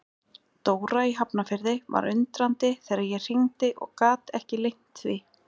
Dóra í Hafnarfirði var undrandi þegar ég hringdi og gat ekki leynt því.